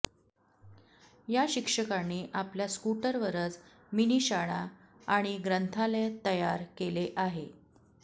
या शिक्षकांनी आपल्या स्कूटर वरच मिनी शाळा आणि ग्रंथालय तयर केले आहे